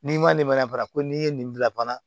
N'i ma nin ma fara ko n'i ye nin bila fana